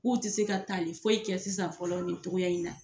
K'u tɛ se ka tali foyi kɛ sisan fɔlɔ nin togo in na.